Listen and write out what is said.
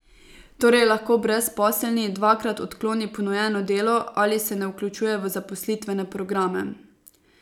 Torej lahko brezposelni dvakrat odkloni ponujeno delo ali se ne vključuje v zaposlitvene programe.